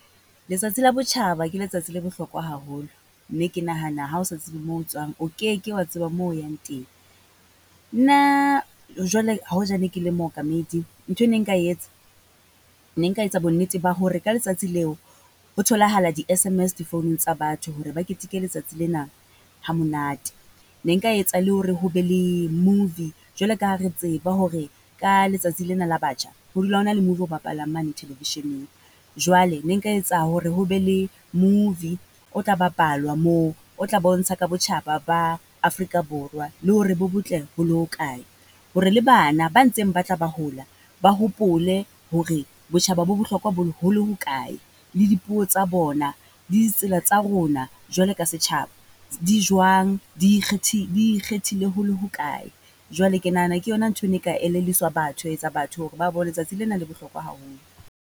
Letsatsi le botjhaba ke letsatsi la bohlokwa haholo, mme ke nahana ha o sa tsebe moo tswang o keke wa tseba mo o yang teng. Nna jwale hoja ne ke le mookamedi, ntho e ne nka etsa, nne nka etsa bonnete ba hore ka letsatsi leo. Ho tholahala di-S_M_S difounung tsa batho, hore ba keteke letsatsi lena hamonate. Ne nka etsa le hore ho be le movie, jwalo ka ha re tseba hore ka letsatsi lena la batjha, ho dula ho na le movie o bapalang mane television-eng. Jwale ne nka etsa hore ho be le movie o tla bapalwa moo, o tla bontsha ka botjhaba ba Afrika Borwa, le hore bo botle ho le ho kae, hore le bana ba ntseng ba tla ba hola, ba hopole hore botjhaba bo bohlokwa ho le hokae, le dipuo tsa bona, le di tsela tsa rona jwalo ka setjhaba. Di jwang, di di ikgethile ho le ho kae? Jwale ke nahana ke yona ntho e ne e ka elelliswa batho, ya etsa batho hore ba bo letsatsi lena la bohlokwa haholo.